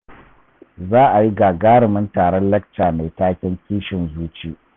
Za a yi gagarimin taron lacca mai taken "Kishin Zuci".